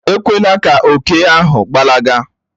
Èkwelà kà òkè ahụ gbalaga